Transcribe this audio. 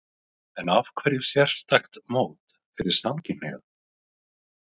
En af hverju sérstakt mót fyrir samkynhneigða?